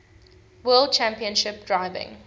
world championship driving